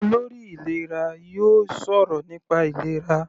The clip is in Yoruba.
Olórí ìlera yóò sọ̀rọ̀ nípa ìlera.